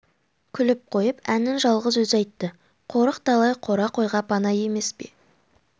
күліп қойып әнін жалғыз өзі айтты қорық талай қора қойға пана емес пе